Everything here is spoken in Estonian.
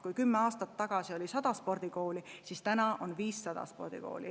Kui kümme aastat tagasi oli 100 spordikooli, siis praegu on 500 spordikooli.